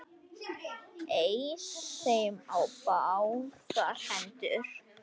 Eys þeim á báðar hendur!